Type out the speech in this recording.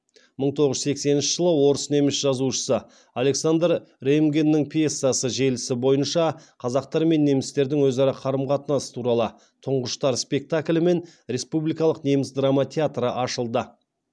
мың тоғыз жүз сексенінші жылы орыс неміс жазушысы александр реймгеннің пьесасы желісі бойынша қазақтар мен немістердің өзара қарым қатынасы туралы тұңғыштар спектаклімен республикалық неміс драма театры ашылды